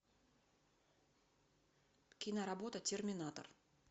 киноработа терминатор